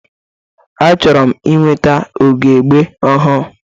Achọrọ m ịnweta ugogbe ọhụrụ.